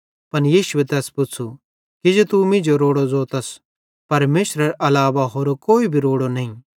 पन यीशुए तैस पुच़्छ़ू किजो तू मींजो रोड़ू ज़ोतस परमेशरेरे अलावा होरो कोई भी रोड़ो नईं